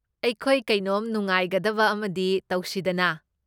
ꯑꯩꯈꯣꯏ ꯀꯩꯅꯣꯝ ꯅꯨꯡꯉꯥꯏꯒꯗꯕ ꯑꯃꯗꯤ ꯇꯧꯁꯤꯗꯅꯥ꯫